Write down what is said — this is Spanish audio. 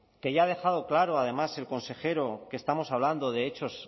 que ya ha dejado claro además el consejero que estamos hablando de hechos